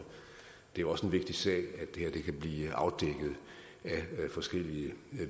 det er også en vigtig sag at det her kan blive afdækket af forskellige